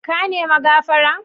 Ka ne mi gafara?